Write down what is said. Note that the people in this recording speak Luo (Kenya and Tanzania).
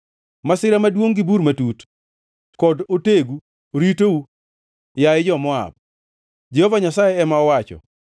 Masira maduongʼ gi bur matut kod otegu ritou, yaye jo-Moab,” Jehova Nyasaye ema owacho.